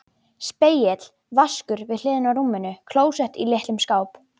Spegill, vaskur við hliðina á rúminu, klósett í litlum skáp.